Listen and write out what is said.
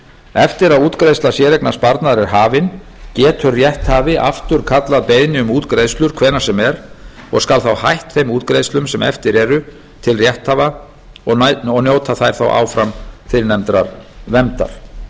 eftir að útgreiðsla séreignarsparnaðar er hafin getur rétthafi afturkallað beiðni um útgreiðslur hvenær sem er og skal þá hætt þeim útgreiðslum sem eftir eru til rétthafa og njóta þær þá áfram fyrrnefndrar verndar í